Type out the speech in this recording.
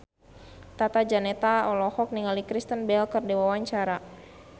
Tata Janeta olohok ningali Kristen Bell keur diwawancara